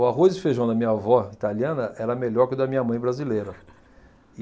O arroz e feijão da minha avó, italiana, era melhor que o da minha mãe, brasileira.